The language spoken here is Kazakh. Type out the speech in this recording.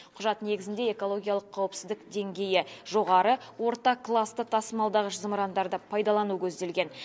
құжат негізінде экологиялық қауіпсіздік деңгейі жоғары орта класты тасымалдағыш зымырандарды пайдалану көзделген